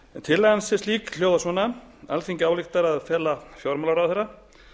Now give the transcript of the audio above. tillagan sem slík hljóðar svona alþingi ályktar að fela fjármálaráðherra